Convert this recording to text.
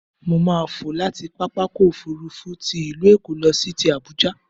Mo máà fò láti pápákọ̀-òfurufú ti ìlú Èkó lọ sí ti Àbuja.